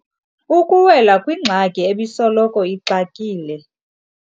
Ukuwela kwingxaki ebisoloko ixakile.